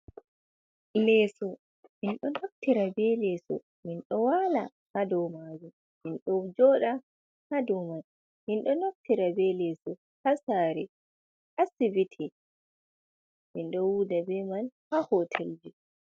Leeso. Min ɗon naftira be leeso, min ɗo waala haa do maajum, min ɗo jooɗa haa do man. Min ɗon naftira be leeso haa saare, asibiti, min ɗo wuuda be man haa hotel ji.